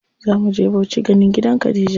Zamu je Bauchi ganin gidan Khadija.